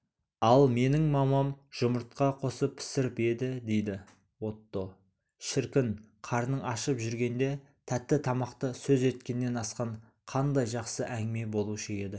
ал менің мамам жұмыртқа қосып пісіріп еді дейді отто шіркін қарның ашып жүргенде тәтті тамақты сөз еткеннен асқан қандай жақсы әңгіме болушы еді